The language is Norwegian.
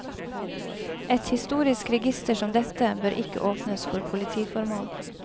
Et historisk register som dette bør ikke åpnes for politiformål.